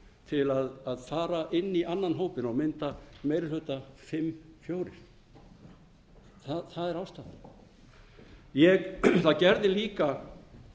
til að fara inn í annan hópinn og mynda meiri hluta fimm fjórða það er ástæðan það gerði líka